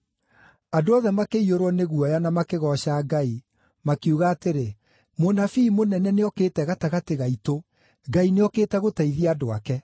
Andũ othe makĩiyũrwo nĩ guoya na makĩgooca Ngai, makiuga atĩrĩ, “Mũnabii mũnene nĩokĩte gatagatĩ gaitũ. Ngai nĩokĩte gũteithia andũ ake.”